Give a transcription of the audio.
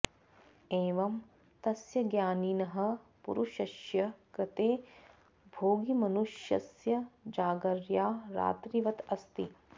एवं तस्य ज्ञानिनः पुरुषस्य कृते भोगिमनुष्यस्य जागर्या रात्रिवत् अस्ति